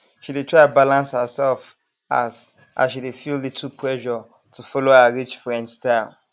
she dey try balance herself as as she dey feel little pressure to follow her rich friend style